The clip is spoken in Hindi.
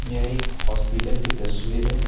यह एक होस्पिटल की तस्वीर है।